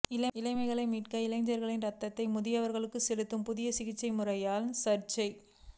இளமையை மீட்க இளைஞர்களின் ரத்தத்தை முதியவர்களுக்கு செலுத்தும் புதிய சிகிச்சை முறையால் சர்ச்சை